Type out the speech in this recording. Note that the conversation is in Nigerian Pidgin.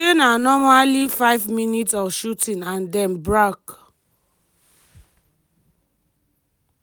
she say "na normally five minutes of shooting and den brak".